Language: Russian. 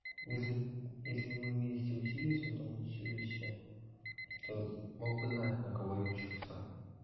если если мы вместе учились в этом училище то мог бы знать на кого я учился